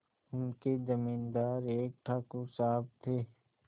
उनके जमींदार एक ठाकुर साहब थे